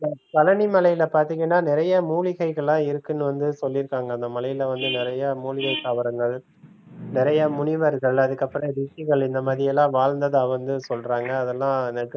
பழனி மலையில பார்த்தீங்கன்னா நிறைய மூலிகைகள்லாம் இருக்குன்னு வந்து சொல்லிருக்காங்க அந்த மலையில வந்து நிறைய மூலிகை தாவரங்கள் நிறையா முனிவர்கள் அதுக்கப்புறம் ரிஷிகள் இந்த மாரியெல்லாம் வாழ்ந்ததாக வந்து சொல்றாங்க அதெல்லாம்